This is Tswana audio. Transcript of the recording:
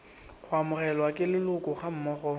go amogelwa ke leloko gammogo